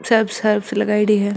सब सर्फ़ लगाईडी है।